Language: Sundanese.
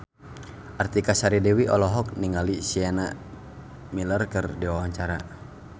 Artika Sari Devi olohok ningali Sienna Miller keur diwawancara